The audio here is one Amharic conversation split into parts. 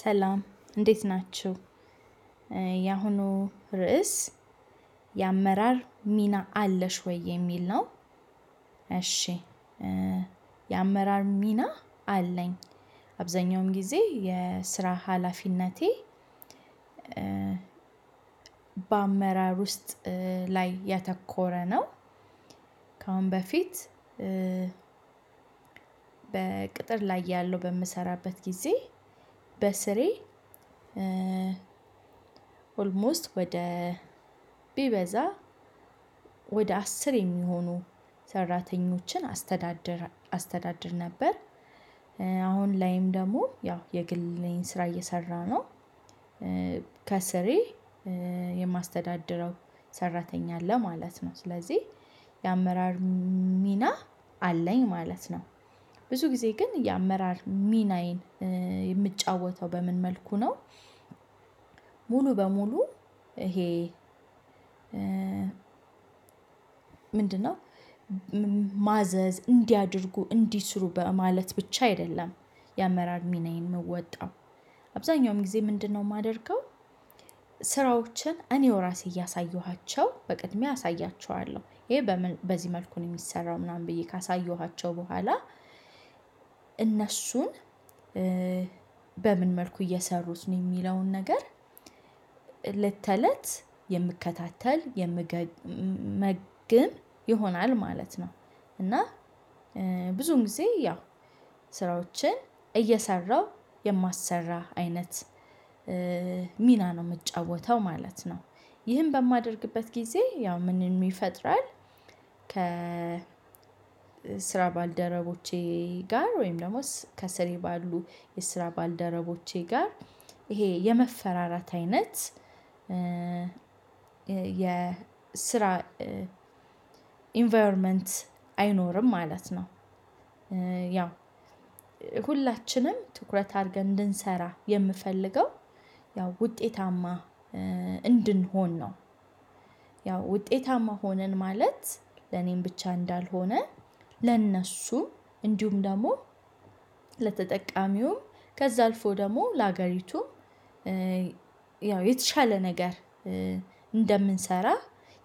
ሰላም እንዴት ናችሁ ያሁኑ ርዕስ የአመራር ሚና አለሽ ወይ የሚል ነው? እሺ የአመራር ሚና አለኝ አብዛኛውም ጊዜ የስራ ሀላፊነቴ። በአመራር ውስጥ ላይ ያተኮረ ነው። ከአሁን በፊት። በቅጥር ላይ እያለሁ በምሰራበት ጊዜ በስሬ ኦልሞስት ወደ ቢበዛ ወደ አስር የሚሆኑ ሰራተኞችን አስተዳደር አስተዳደር ነበር። አሁን ላይም ደግሞ ያው የግል ስራ እየሰራ ነው። ከስሬ የማስተዳደረው ሰራተኛ አለ ማለት ነው ስለዚህ የአመራር ሚና አለኝ ማለት ነው። ብዙ ጊዜ ግን የአመራር ሚናዬን የምጫወተው በምን መልኩ ነው? ሙሉ በሙሉ ይሄ ምንድነው? ማዘዝ እንዲያደርጉ እንዲህ ስሩ በማለት ብቻ አይደለም። የአመራር ሚናዬን ምወጣው አብዛኛውም ጊዜ ምንድነው የማደርገው? ስራዎችን እኔው ራሴ እያሳየኋቸው በቅድሚያ አሳያቸዋለሁ ይሄ በዚህ መልኩን የሚሰራው ምናምን ብዬ ካሳየኋቸው በኋላ። እነሱን በምን መልኩ እየሰሩት ነው የሚለውን ነገር እለት ተለት የምከታተል የምገመግም ይሆናል ማለት ነው። እና ብዙን ጊዜ ያው ስራዎችን እየሰራሁ የማሰራ አይነት ሚና ነው የምጫወተው ማለት ነው። ይህን በማደርግበት ጊዜ ያው ምንም ይፈጥራል። ከ ስራ ባልደረቦቼ ጋር ወይም ደግሞ ከስር ባሉ የስራ ባልደረቦቼ ጋር ይሄ የመፈራራት አይነት። የስራ ኢንቫይሮመንት አይኖርም ማለት ነው። ያው ሁላችንም ትኩረት አድርገን እንድንሰራ የምፈልገው ያው ውጤታማ እንድንሆን ነው። ያው ውጤታማ ሆነን ማለት ለኔም ብቻ እንዳልሆነ ለእነሱ እንዲሁም ደግሞ ለተጠቃሚውም ከዛ አልፎ ደግሞ ለሀገሪቱ ያው የተሻለ ነገር እንደምንሰራ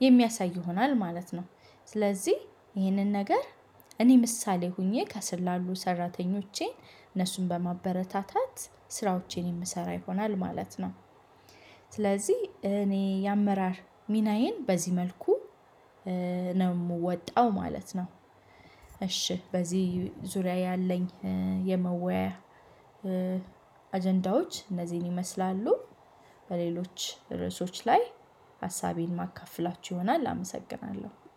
የሚያሳይ ይሆናል ማለት ነው። ስለዚህ ይህንን ነገር እኔ ምሳሌ ሆኜ ከስር ላሉ ሰራተኞቼ እነሱን በማበረታታት ስራዎቼን የምሰራ ይሆናል ማለት ነው። ስለዚህ እኔ የአመራር ሚናዬን በዚህ መልኩ ነው የምወጣው ማለት ነው። እሺ በዚህ ዙሪያ ያለኝ የመወያየት አጀንዳዎች እነዚህን ይመስላሉ። በሌሎች ርዕሶች ላይ ሀሳቤን ማካፍላችሁ ይሆናል አመሰግናለሁ